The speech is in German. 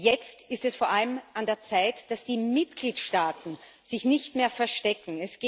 Jetzt ist es vor allem an der Zeit, dass die Mitgliedstaaten sich nicht mehr verstecken.